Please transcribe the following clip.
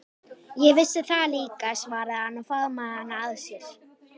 Ég vissi það líka, svaraði hann og faðmaði hana að sér.